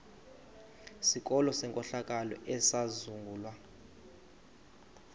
sikolo senkohlakalo esizangulwa